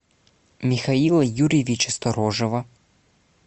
михаила юрьевича сторожева